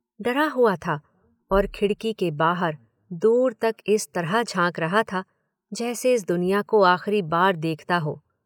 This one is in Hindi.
डरा हुआ था और खिड़की के बाहर दूर तक इस तरह झाँक रहा था जैसे इस दुनिया को आखिरी बार देखता हो।